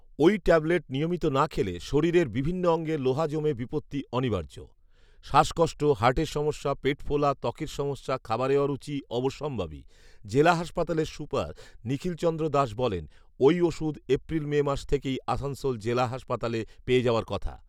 ওই ট্যাবলেট নিয়মিত না খেলে শরীরের বিভিন্ন অঙ্গে লোহা জমে বিপত্তি অনিবার্য৷ শ্বাসকষ্ট, হার্টের সমস্যা, পেট ফোলা, ত্বকের সমস্যা, খাবারে অরুচি অবশ্যম্ভাবী৷ জেলা হাসপাতালের সুপার নিখিলচন্দ্র দাস বলেন, “ওই ওষুধ এপ্রিল মে মাস থেকেই আসানসোল জেলা হাসপাতালে পেয়ে যাওয়ার কথা।"